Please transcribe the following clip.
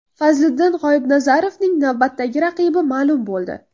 Fazliddin G‘oibnazarovning navbatdagi raqibi ma’lum bo‘ldi.